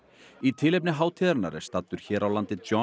í tilefni hátíðarinnar er staddur hér á landi John